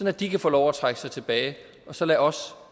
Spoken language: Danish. at de kan få lov at trække sig tilbage og så lad os